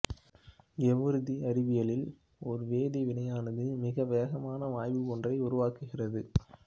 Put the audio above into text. ஏவூர்தி அறிவியலில் ஒரு வேதி வினையானது மிக வேகமாக வாயு ஒன்றை உருவாக்குகிறது